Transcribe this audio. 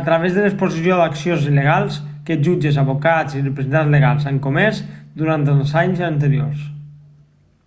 a través de l'exposició d'accions il·legals que jutges advocats i representants legals han comès durant els anys anteriors